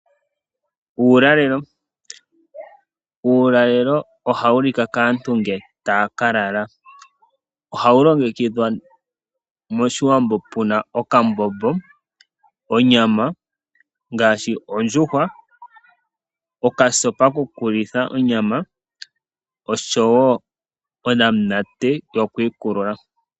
Uulalelo, uulalelo oha wu lika kaantu nge taya ka lala, oha wu longekidhwa moshiwambo puna okambombo, onyama ngaashi ondjuhwa, okasopa ko ku litha onyama osho wo onamunate yo ku ikulula.